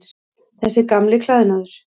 Þessi gamli klæðnaður.